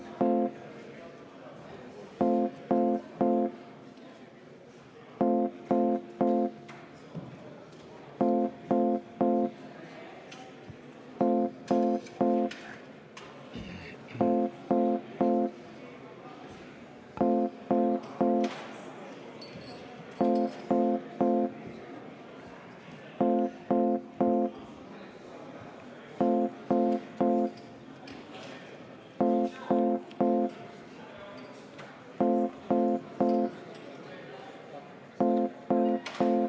Head kolleegid!